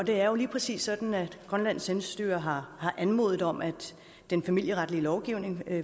det er jo lige præcis sådan at grønlands selvstyre har anmodet om at den familieretlige lovgivning